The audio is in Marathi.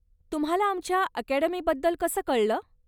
तुम्हाला आमच्या अकॅडमीबद्दल कसं कळलं?